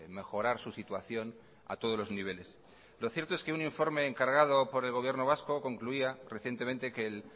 mejorar su situación a todos los niveles lo cierto es que un informe encargado por el gobierno vasco concluía recientemente que el